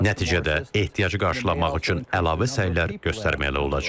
Nəticədə ehtiyacı qarşılamaq üçün əlavə səylər göstərməli olacağıq.